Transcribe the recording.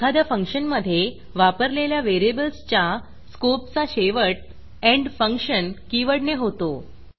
एखाद्या फंक्शनमधे वापरलेल्या व्हेरिएबल्सच्या स्कोपचा शेवट एंडफंक्शन एण्ड फंक्शन कीवर्डने होतो